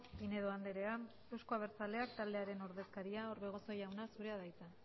pinedo andrea euzko abertzaleak taldearen ordezkaria orbegozo jauna zurea da hitza